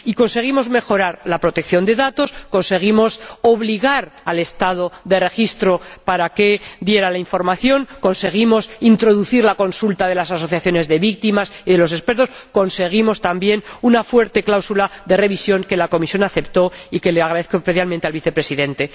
Y conseguimos mejorar la protección de datos, conseguimos obligar al Estado de registro a que diera la información, conseguimos introducir la consulta de las asociaciones de víctimas y de los expertos, y conseguimos también una fuerte cláusula de revisión, que la Comisión aceptó y que le agradezco especialmente al Vicepresidente.